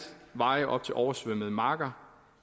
veje op til oversvømmede marker